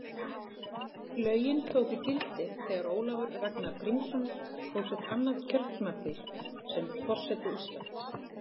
Lögin tóku gildi þegar Ólafur Ragnar Grímsson hóf sitt annað kjörtímabil sem forseti Íslands.